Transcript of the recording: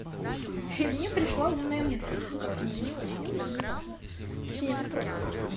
и мне пришла умная мысль ну как умная не очень умная ну неважно точнее вопрос